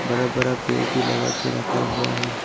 हरा भरा पेड़ भी लगा के रखा हुआ है।